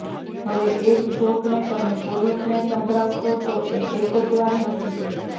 હવે એ જ જોકને તમે પોલીસને સંભળાવશો તો એ એક જ વાર હસશે